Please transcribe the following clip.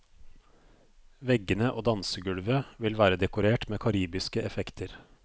Veggene og dansegulvet vil være dekorert med karibiske effekter.